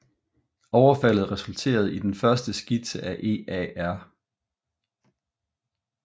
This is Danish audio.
Overfaldet resulterede i den første skitse af EAR